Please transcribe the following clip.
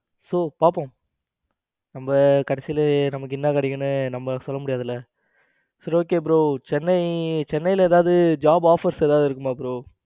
So பாப்போம் நம்ம கடைசியில நமக்கு என்ன கிடைக்கும்னு நம்ம சொல்ல முடியாதுல்ல. சரி okay bro சென்னை சென்னையில ஏதாவது job offer ஏதாவது இருக்குமா bro